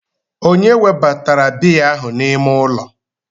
Ònye webatara biya ahụ n'ime ụlọ?